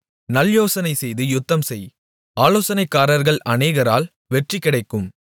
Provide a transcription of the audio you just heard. நல்யோசனைசெய்து யுத்தம்செய் ஆலோசனைக்காரர்கள் அநேகரால் வெற்றி கிடைக்கும்